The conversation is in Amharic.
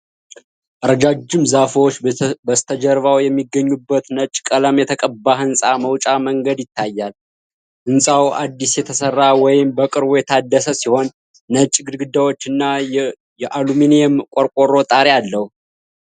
ረጃጅም ዛፎች በስተጀርባው የሚገኙበት ነጭ ቀለም የተቀባ ህንጻ መውጫ መንገድ ይታያል። ህንጻው አዲስ የተሰራ ወይም በቅርቡ የታደሰ ሲሆን፣ ነጭ ግድግዳዎችና የአሉሚኒየም ቆርቆሮ ጣሪያ አለው።